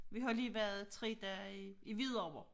Vi har lige været 3 dage i i Hvidovre